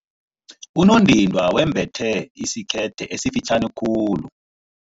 Unondindwa wembethe isikete esifitjhani khulu.